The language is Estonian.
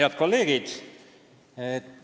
Head kolleegid!